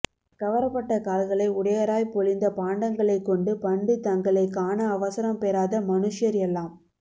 கவர பட்ட கால்களை உடையராய் பொளிந்த பாண்டங்களைக் கொண்டு பண்டு தங்களைக் காண அவசரம் பெறாத மனுஷ்யர் எல்லாம்